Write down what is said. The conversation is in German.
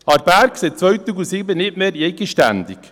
Aarberg: seit 2007 nicht mehr eigenständig.